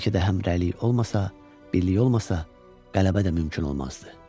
Bəlkə də həmrəylik olmasa, birlik olmasa qələbə də mümkün olmazdı.